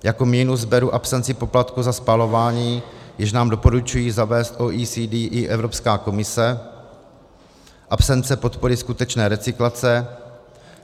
Jako minus beru absenci poplatku za spalování, jejž nám doporučují zavést OECD i Evropská komise, absenci podpory skutečné recyklace.